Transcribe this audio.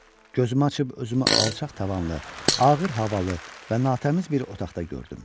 Gözümü açıb özümü alçaq tavanlı, ağır havalı və natəmiz bir otaqda gördüm.